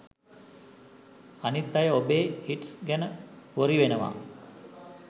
අනිත් අය ඔබේ හිට්ස් ගැන වොරි වෙනවා